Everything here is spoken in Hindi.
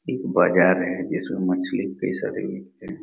एक बाज़ार है इसमें मछली है कई सारे बिकते है।